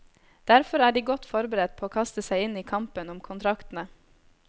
Derfor er de godt forberedt på å kaste seg inn i kampen om kontraktene.